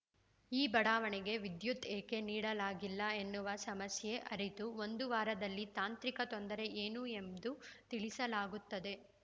ಈ ಬಡಾವಣೆಗೆ ವಿದ್ಯುತ್‌ ಏಕೆ ನೀಡಲಾಗಿಲ್ಲ ಎನ್ನುವ ಸಮಸ್ಯೆ ಅರಿತು ಒಂದು ವಾರದಲ್ಲಿ ತಾಂತ್ರಿಕ ತೊಂದರೆ ಏನು ಎಂದು ತಿಳಿಸಲಾಗುತ್ತದೆ